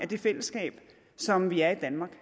det fællesskab som vi har i danmark